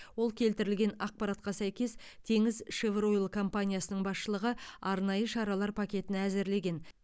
ол келтірген ақпаратқа сәйкес теңізшевройл компаниясының басшылығы арнайы шаралар пакетін әзірлеген